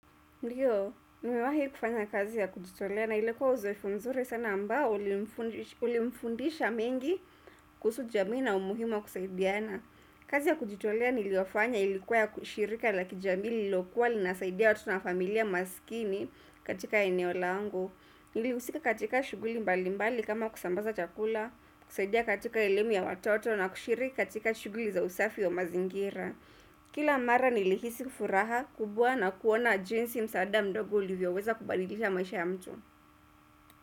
Ndiyo, nimewahi kufanya kazi ya kujitolea na ilikuwa uzoefu nzuri sana ambao ulimfundisha mengi kuhusu jamii na umuhimu wa kusaidiana. Kazi ya kujitolea niliyofanya ilikuwa ya kushirika la kijamii lilokuwa linasaidia watu na familia masikini katika eneo langu. Nilihusika katika shuguli mbali mbali kama kusambaza chakula, kusaidia katika elemu ya watoto na kushiriki katika shuguli za usafi ya mazingira. Kila mara nilihisi furaha kubwa na kuona jinsi msaada mdogo ulivyo weza kubadilisha maisha ya mtu.